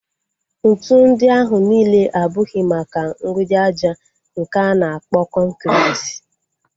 Ntụ ndị ahụ nile abụghị maka mgbidi aja nke a na-akpọ kọnkriti